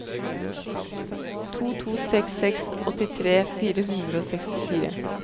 to to seks seks åttitre fire hundre og sekstifire